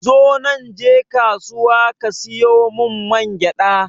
Zonan je kasuwa ka siyo mun mangyaɗa